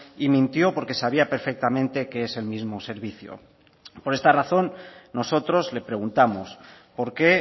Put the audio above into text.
y mintió porque sabía perfectamente que es el mismo servicio por esta razón nosotros le preguntamos por qué